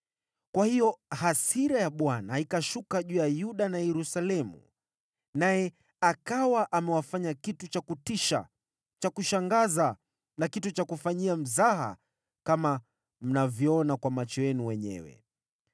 Kwa hiyo, hasira ya Bwana ikashuka juu ya Yuda na Yerusalemu, naye akawa amewafanya kitu cha kutisha, cha kushangaza na kitu cha kufanyia mzaha kama mnavyoona kwa macho yenu wenyewe.